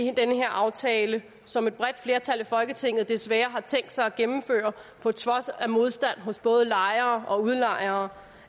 her aftale som et bredt flertal i folketinget desværre har tænkt sig at gennemføre på trods af modstand hos både lejere og udlejere